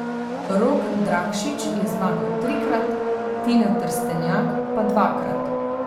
Rok Drakšič je zmagal trikrat, Tina Trstenjak pa dvakrat.